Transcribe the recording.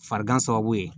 Farigan sababu ye